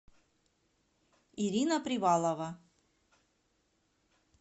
ирина привалова